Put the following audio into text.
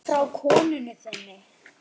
Frá konunni þinni?